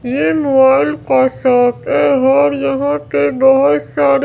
ये मोबाइल का शॉप है और यहां पे बहोत सारे--